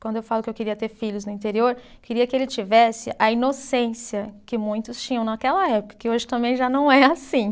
Quando eu falo que eu queria ter filhos no interior, eu queria que ele tivesse a inocência que muitos tinham naquela época, que hoje também já não é assim.